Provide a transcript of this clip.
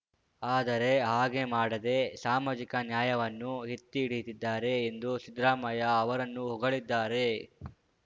ಆದರೆ ಹಾಗೆ ಮಾಡದೆ ಸಾಮಾಜಿಕ ನ್ಯಾಯವನ್ನು ಎತ್ತಿಹಿಡಿದಿದ್ದಾರೆ ಎಂದು ಸಿದ್ದರಾಮಯ್ಯ ಅವರನ್ನು ಹೊಗಳಿದ್ದಾರೆ